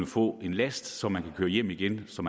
få en last som han kan køre hjem igen så